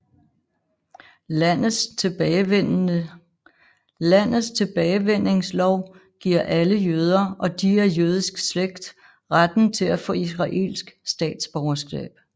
Landets tilbagevendingslov giver alle jøder og de af jødisk slægt retten til at få israelsk statsborgerskab